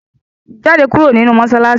Jáde kúrò nínú mọ́ṣáláṣí!